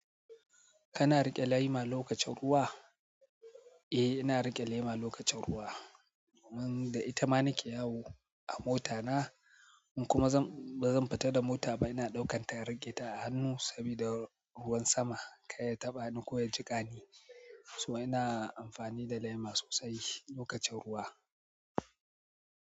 Kana riƙe lema lokacin ruwa? Eh, ina riƙe lema lokacin ruwa. Dun da ita ma nike yawo a mota na in kuma ba zan fita da mota ba, ina ɗaukan ta in riƙe ta a hannu saboda ruwan sama kar ya taɓa ni ko ya jiƙa ni. So ina amfani da lema sosai lokacin ruwa.